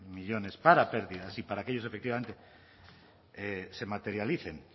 millónes para pérdidas y para que ellos efectivamente se materialicen